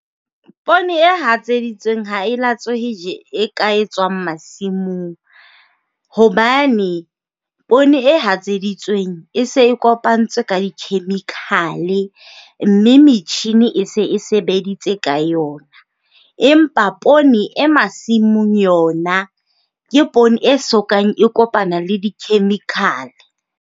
Poone e hatseditsweng ha e latswehe ka e tswang masimong hobane poone e hatseditsweng e se e kopantswe ka di-chemical, mme metjhini e se e sebeditse ka yona, empa poone e masimong yona ke poone e sokang e kopana le di-chemical.